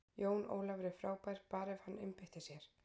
Jón Ólafur er frábær, bara ef hann einbeitir sér.